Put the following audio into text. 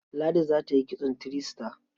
Ladi za ta yi kitson three star.